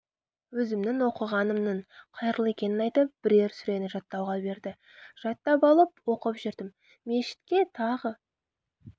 өзімнің оқығанымның қайырлы екенін айтып бірер сүрені жаттауға берді жаттап алып оқып жүрдім мешітке тағы